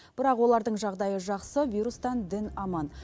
бірақ олардың жағдайы жақсы вирустан дін аман